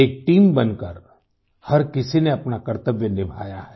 एक टीम बनकर हर किसी ने अपना कर्तव्य निभाया है